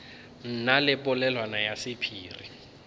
na le polelwana ya sephiri